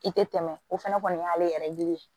I tɛ tɛmɛ o fana kɔni y'ale yɛrɛ yiri ye